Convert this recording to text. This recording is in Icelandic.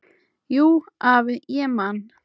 Jú, afi, ég man.